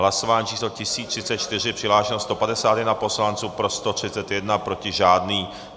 Hlasování číslo 1034, přihlášeno 151 poslanců, pro 131, proti žádný.